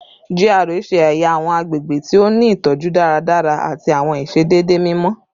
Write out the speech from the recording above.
GRA ṣe ẹya awọn agbegbe ti o ni itọju daradara ati awọn iṣedede mimọ